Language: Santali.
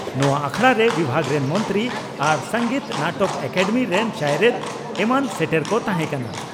ᱱᱚᱣᱟ ᱟᱠᱷᱲᱟᱨᱮ ᱵᱤᱵᱷᱟᱜᱽ ᱨᱮᱱ ᱢᱚᱱᱛᱨᱤ ᱟᱨ ᱥᱚᱝᱜᱤᱛ ᱱᱟᱴᱚᱠ ᱮᱠᱟᱰᱮᱢᱤ ᱨᱮᱱ ᱪᱟᱭᱨᱮᱛ ᱮᱢᱢᱟᱱ ᱥᱮᱴᱮᱨ ᱠᱚ ᱛᱟᱦᱮᱸ ᱠᱟᱱᱟ ᱾